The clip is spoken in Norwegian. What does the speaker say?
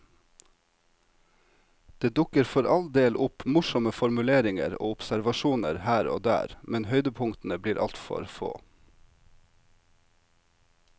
Det dukker for all del opp morsomme formuleringer og observasjoner her og der, men høydepunktene blir altfor få.